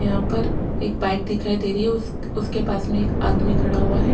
यहां पर एक बाइक दिखाई दे रही है उस उसके पास में एक आदमी खड़ा हुआ है।